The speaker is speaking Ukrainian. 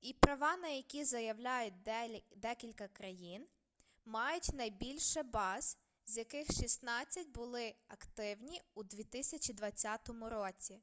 і права на які заявляють декілька країн мають найбільше баз з яких шістнадцять були активні у 2020 році